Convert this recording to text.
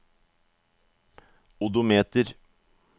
odometer